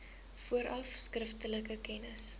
vooraf skriftelik kennis